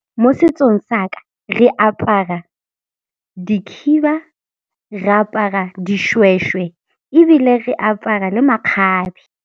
Mo setsong sa ka re apara dikhiba, re apara dishweshwe ebile re apara le makgabe.